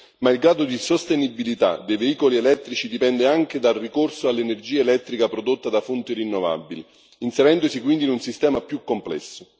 Ma il grado di sostenibilità dei veicoli elettrici dipende anche dal ricorso all'energia elettrica prodotta da fonti rinnovabili, inserendosi quindi in un sistema più complesso.